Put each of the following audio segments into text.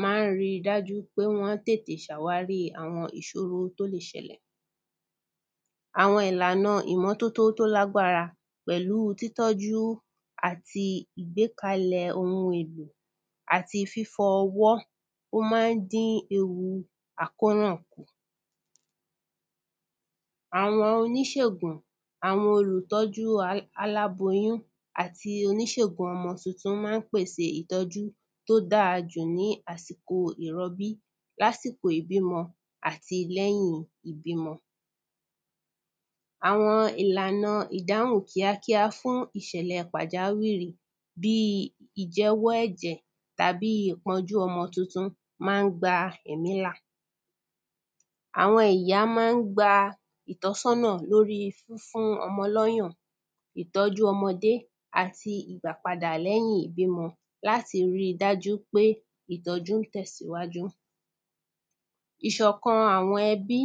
ma ń ríi dájú pé wọ́n tètè ṣàwárí àwọn ìṣòró tó lè ṣẹlẹ̀ àwọn ìlànàá ìmọ́tótó tó lágbárá pẹ̀lú títọ́jú àti ìgbékalẹ̀ ohun èlò àti fífọwọ́, ó ma ń dí ewu àkóràn. àwọn oníṣégùn, àwọn olùtọ́júu alá alábóyún àti oníṣégùn ọmọ tuntun ma ń pèsèe ìtọ́jú tó dára jù ní àsìkò ìrọbí, lásíkò ìbímọ àti lẹ́yìn ìbímọ àwọn ìlànàa ìdáhùn kíákíá fún ìṣẹ̀lẹ̀ẹ pàjáwìrì bíi ìjẹ́wọ́ ẹ̀jẹ̀ tàbí ìpọ́njú ọmọ tuntun ma ń gba ẹ̀mí là àwọn ìyá ma ń gba ìtọ́sọ́nà lóríi fúnfún ọmọ lọ́yàn ìtọ́jú ọmọdé àti ìgbàpadà lẹ́yìn ìbímọ láti ríi dájú pé ìtọ́jú ń tẹ̀síwájú ìṣọ̀kan àwọn ẹbí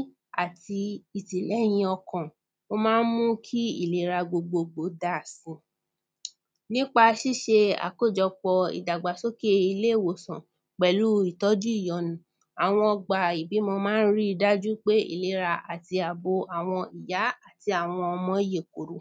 àti ìtìlẹ́hìn ọkọ̀n, ó ma ń mú kí ìlera gbogbogbò dáa si nípa ṣíṣe àkójọpọ̀ ìdàgbàsókè ilé-ìwòsàn pẹ̀lú ìtọ́jú ìyọnu, àwọn ọgbà ìbímọ ma ń ríi dájú pé ìlera àti àbo àwọn ìyá àti àwọn ọmọ yèkoro